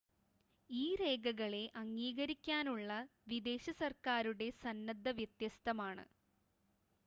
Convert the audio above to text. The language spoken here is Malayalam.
ഈ രേഘകളെ അംഗീകരിക്കാനുള്ള വിദേശ സർക്കാരുകളുടെ സന്നദ്ധത വ്യത്യസ്തമാണ്